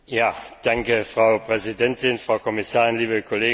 Frau Präsidentin, Frau Kommissarin, liebe Kolleginnen und Kollegen!